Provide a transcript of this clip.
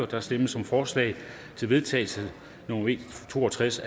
der stemmes om forslag til vedtagelse nummer v to og tres